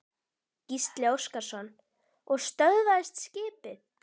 Gísli Óskarsson: Og stöðvaðist skipið?